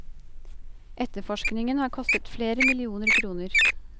Etterforskningen har kostet flere millioner kroner.